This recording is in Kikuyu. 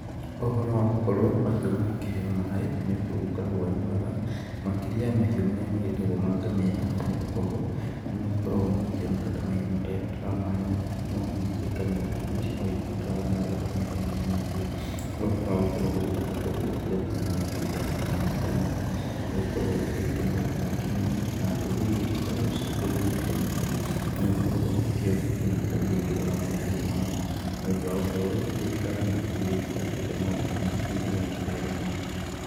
Ũhoro wa gũkorwo mahiũ magĩkĩheo maaĩ nĩ ũndũ ũgĩkoragwo wĩ mwega makĩrĩa ya mahiũ marĩa magĩkoragwo magĩĩtwo ngamĩra nĩ gukorwo, nĩ magikoragwo magĩkĩoneka ta mahiũ matagĩbataraga maaĩ mũno, no ningĩ ngamĩra, na cio no cigĩbataraga maaĩ o ta mahiũ marĩa mangĩ. Ũhoro wa gũkorwo gũgĩthondekwo kũrĩa mahiũ mangĩgĩthiaga gũkĩnyua maaĩ ta maya, nĩ gũkoragwo gũgĩteithia maũndu maingĩ mũno, na ndũrĩrĩ iria igĩkoragwo cirĩ kũndũ gũkĩũmĩte, nĩ ĩgĩkoragwo ĩgĩkĩona nginya kũrĩa irĩgĩtwaraga mahiũ mao. Nĩ ũndũ wa ũhoro ũyũ, thirikari na ikundi iria irakĩruta maũndũ ta maya nĩ iragĩka wega mũno.